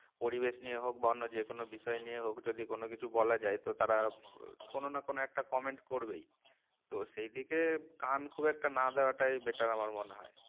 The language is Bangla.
পরিবেশ নিয়ে হোক বা অন্য যেকোনো বিষয় নিয়ে হোক যদি কোনো কিছু বলা যায় তো তারা আহ কোনো না কোনো একটা comment করবেই তো সেই দিকে কান খুব একটা না দেওয়াটাই better আমার মনে হয়